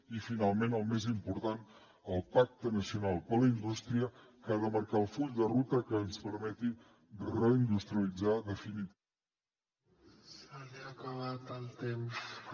i finalment el més important el pacte nacional per a la indústria que ha de marcar el full de ruta que ens permeti reindustrialitzar definitivament